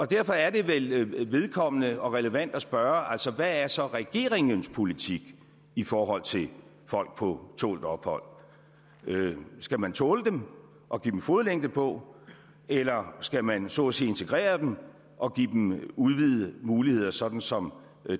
derfor er det vel vedkommende og relevant at spørge hvad er så regeringens politik i forhold til folk på tålt ophold skal man tåle dem og give dem en fodlænke på eller skal man så at sige integrere dem og give dem udvidede muligheder sådan som